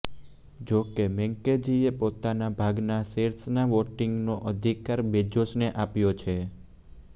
જોકે મૈકેંઝીએ પોતાના ભાગના શેર્સના વોટિંગનો અધિકાર બેજોસને આપ્યો છે